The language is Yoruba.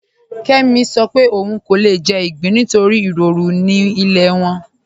Kẹmì ń sọ̀ pé ọún kò lè jẹ̀ igbín nítorí iròrù ni ilẹ̀ wọn.